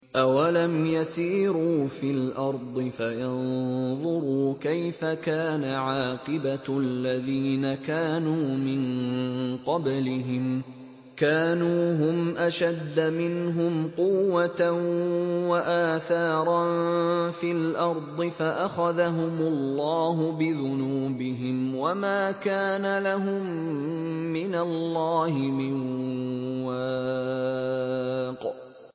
۞ أَوَلَمْ يَسِيرُوا فِي الْأَرْضِ فَيَنظُرُوا كَيْفَ كَانَ عَاقِبَةُ الَّذِينَ كَانُوا مِن قَبْلِهِمْ ۚ كَانُوا هُمْ أَشَدَّ مِنْهُمْ قُوَّةً وَآثَارًا فِي الْأَرْضِ فَأَخَذَهُمُ اللَّهُ بِذُنُوبِهِمْ وَمَا كَانَ لَهُم مِّنَ اللَّهِ مِن وَاقٍ